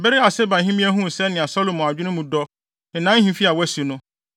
Bere a Sebahemmea huu sɛnea Salomo adwene mu dɔ, ne ahemfi a wasi no,